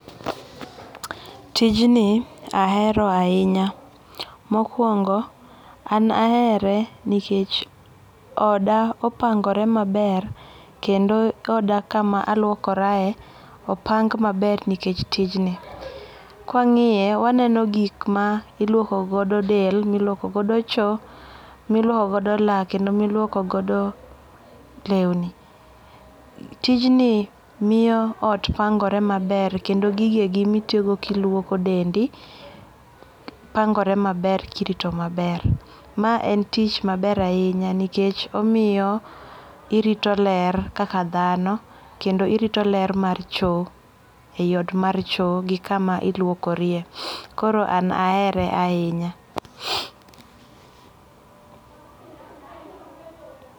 Tijni ahero ahinya, mokuongo an ahere nikech oda opangore maber kendo oda kama aluokorae opang' maber nikech tijni, kwangiye to waneno gik ma iluoko godo del, miluokogodo choo, miluoko godo lak kendo miluokogodo lewni. Tijni miyo ot pangore maber kendo gigie gin ma itiyogodo ka iluoko dendi, pango're maber kirito maber, mae en tich maber ahinya nikech omiyo irito ler kaka thano kendo irito ler mar choo e yiot mar choo gi kama iluokorie koro an ahere ahinya